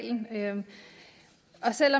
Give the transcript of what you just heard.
skal